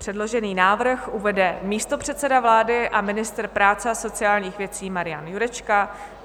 Předložený návrh uvede místopředseda vlády a ministr práce a sociálních věcí Marian Jurečka.